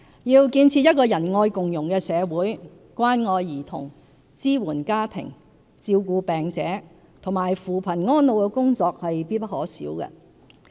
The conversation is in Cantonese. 要建設仁愛共融的社會，關愛兒童、支援家庭、照顧病者和扶貧安老的工作必不可少。